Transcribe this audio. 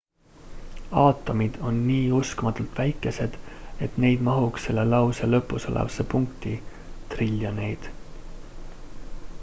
aatomid on nii uskumatult väikesed et neid mahuks selle lause lõpus olevasse punkti triljoneid